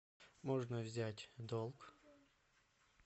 можно взять долг